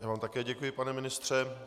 Já vám také děkuji, pane ministře.